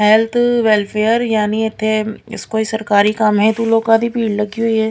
Health welfare ਯਾਨੀ ਇੱਥੇ ਇਸ ਕੋਈ ਸਰਕਾਰੀ ਕੰਮ ਹੈ ਤੋ ਲੋਕਾਂ ਦੀ ਭੀੜ ਲੱਗੀ ਹੋਈ ਹੈ।